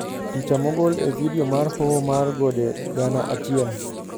Picha mogol e vidio mar "Hoho mar Gode Gana Achiel".